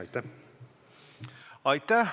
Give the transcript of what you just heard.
Aitäh!